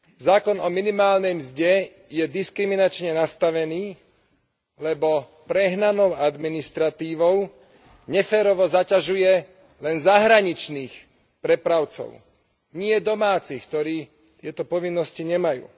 Zákon o minimálnej mzde je diskriminačne nastavený, lebo prehnanou administratívou neférovo zaťažuje len zahraničných prepravcov, nie domácich, ktorí tieto povinnosti nemajú.